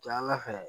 Taala fɛ